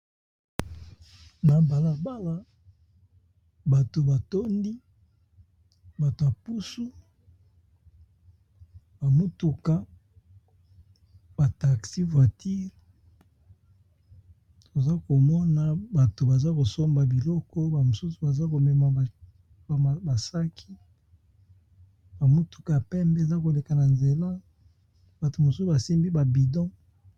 Na balabala bato batondi bato ya pusu ba mutuka ba taxi voiture toza komona bato baza kosomba biloko ba mosusu baza komema basaki ba mutuka pembe eza koleka na nzela bato mosusu basimbi ba bidon